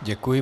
Děkuji.